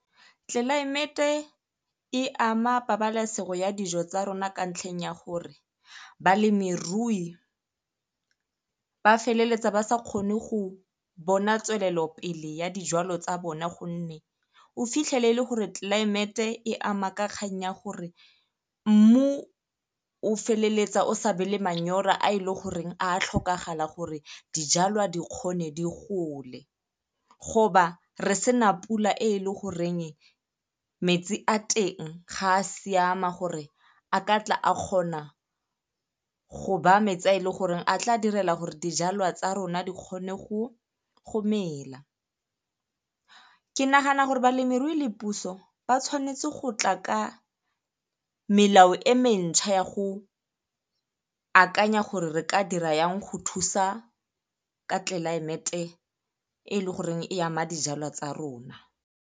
Tlelaemete e ama pabalesego ya dijo tsa rona ka ntlheng ya gore balemirui ba feleletsa ba sa kgone go bona tswelelopele ya dijwalo tsa bona ka gonne o fitlhelele gore tlelaemete e ama ka kgang ya gore mmu o feleletsa o sa be le manyora a e le goreng a tlhokagala gore dijalwa di kgone di gole. re sena pula e e le goreng metsi a teng ga a siama gore a katla a kgona tsona go ba metsi a e leng gore a tla direla gore dijalwa tsa rona di kgone go mela. Ke nagana gore balemirui le puso ba tshwanetse go tla ka melao e mentšha ya go akanya gore re ka dira yang go thusa ka tlelaemete e e le goreng e ama dijalwa tsa rona.